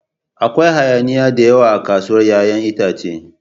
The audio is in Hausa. Akwai hayaniya da yawa a kasuwar 'ya'yan itace.